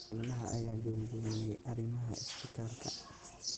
Xubnaha ayaa buunbuuniyay arrimaha isbitaalka.